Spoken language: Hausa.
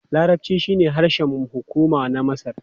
Larabci shine harshen hukuma na Masar.